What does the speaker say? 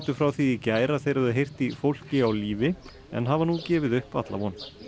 frá því í gær að þeir hefðu heyrt í fólki á lífi en hafa nú gefið upp alla von